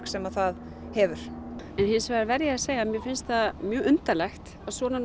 sem það hefur en hins vegar verð ég að segja að mér finnst það mjög undarlegt að svona